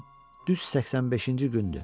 Bu gün düz 85-inci gündür.